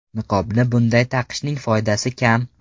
Niqobni bunday taqishning foydasi kam.